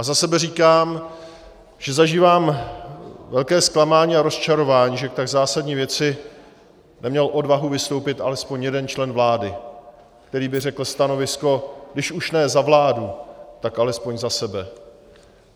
A za sebe říkám, že zažívám velké zklamání a rozčarování, že k tak zásadní věci neměl odvahu vystoupit alespoň jeden člen vlády, který by řekl stanovisko - když už ne za vládu, tak alespoň za sebe.